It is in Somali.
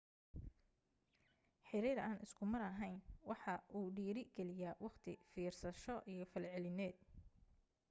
xiriir aan isku mar ahayn waxa uu dhiiri geliyaa waqti fiirsasho iyo falcelineed